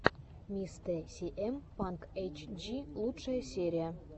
мистэ сиэм панк эйтчди лучшая серия